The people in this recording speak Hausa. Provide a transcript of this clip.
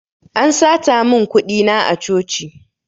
An sata mun kuɗi na a coci